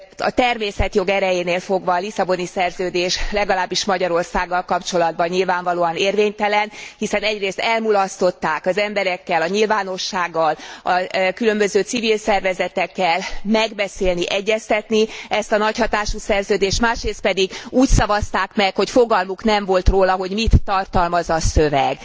A természetjog erejénél fogva a Lisszaboni Szerződés, legalábbis Magyarországgal kapcsolatban nyilvánvalóan érvénytelen, hiszen egyrészt elmulasztották az emberekkel, a nyilvánossággal, különböző civil szervezetekkel megbeszélni, egyeztetni ezt a nagyhatású szerződést, másrészt pedig úgy szavazták meg, hogy fogalmuk nem volt róla, hogy mit tartalmaz a szöveg.